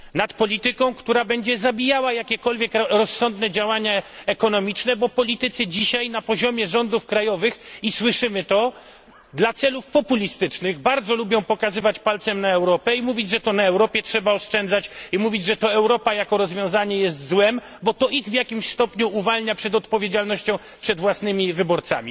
Nad polityką, która będzie zabijała jakiekolwiek rozsądne działania ekonomiczne, bo politycy dzisiaj na poziomie rządów krajowych i słyszymy to dla celów populistycznych bardzo lubią pokazywać palcem na Europę i mówić, że to na Europie trzeba oszczędzać, i mówić, że to Europa jako rozwiązanie jest złem, bo to ich w jakimś stopniu uwalnia od odpowiedzialności wobec własnych wyborców.